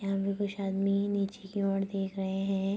यहाँ पे कुछ आदमी नीचे की ओर देख रहे हैं |